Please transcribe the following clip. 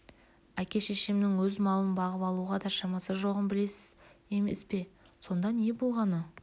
әке-шешемнің өз малын бағып алуға да шамасы жоғын білесіз емес пе сонда не болғаны